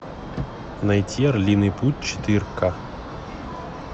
найти орлиный путь четыре ка